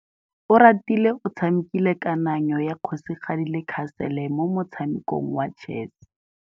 Oratile o tshamekile kananyô ya kgosigadi le khasêlê mo motshamekong wa chess.